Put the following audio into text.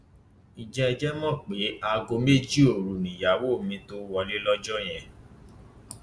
ǹjẹ ẹ jẹ mọ pé aago méjì òru nìyàwó mi tóó wọlé lọjọ yẹn